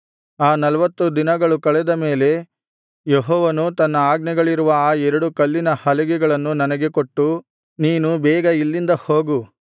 ಆ ನಲ್ವತ್ತು ದಿನಗಳು ಕಳೆದ ಮೇಲೆ ಯೆಹೋವನು ತನ್ನ ಆಜ್ಞೆಗಳಿರುವ ಆ ಎರಡು ಕಲ್ಲಿನ ಹಲಿಗೆಗಳನ್ನು ನನಗೆ ಕೊಟ್ಟು ನೀನು ಬೇಗ ಇಲ್ಲಿಂದ ಹೋಗು